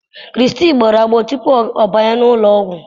krizty gbọpụrụ agbọọ tupu ọ banye n'ụlọ ọgwụ